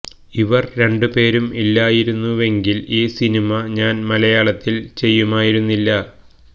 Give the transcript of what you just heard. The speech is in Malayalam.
ഇവര് രണ്ട് പേരും ഇല്ലായിരുന്നുവെങ്കില് ഈ സിനിമ ഞാന് മലയാളത്തില് ചെയ്യുമായിരുന്നില്ല